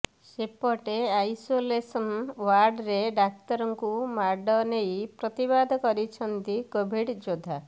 ସେପଟେ ଆଇସୋଲେସନ୍ ଓ୍ୱାର୍ଡରେ ଡାକ୍ତରଙ୍କୁ ମାଡ଼ ନେଇ ପ୍ରତିବାଦ କରିଛନ୍ତି କୋଭିଡ୍ ଯୋଦ୍ଧା